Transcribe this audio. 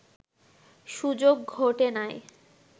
সুযোগ ঘটে নাই